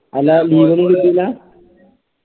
അല്ലാ leave ഒന്നും കിട്ടൂല